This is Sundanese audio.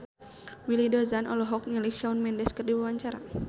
Willy Dozan olohok ningali Shawn Mendes keur diwawancara